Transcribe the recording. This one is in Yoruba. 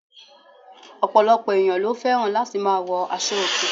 Òpòlòpò ènìyãn lo féràn láti ma wo aso òkè